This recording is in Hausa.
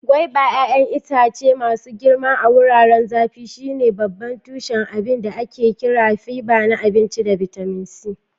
Guaiba 'ya'yan itace masu girma a wurare zafi, shine babban tushen abinda ake kira fiba na abinci da bitamin C